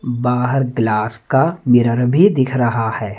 बाहर ग्लास का मिरर भी दिख रहा है।